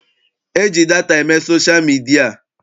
E ji data eme sosha midia.